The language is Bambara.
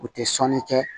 U tɛ sɔnni kɛ